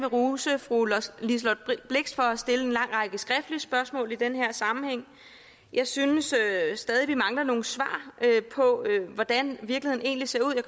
rose fru liselott blixt for at have stillet en lang række skriftlige spørgsmål i den her sammenhæng jeg synes stadig vi mangler nogle svar på hvordan virkeligheden egentlig ser ud og